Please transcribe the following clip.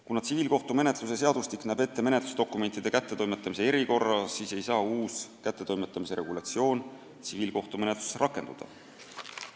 Kuna tsiviilkohtumenetluse seadustik näeb ette menetlusdokumentide kättetoimetamise erikorra, siis ei saa uus kättetoimetamise regulatsioon tsiviilkohtumenetluses rakenduda.